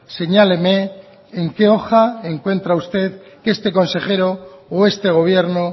señáleme en qué hoja encuentra usted que este consejero o este gobierno